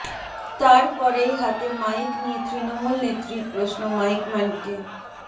তার পরেই হাতে মাইক নিয়ে তৃণমূল নেত্রীর প্রশ্ন মাইকম্যানকে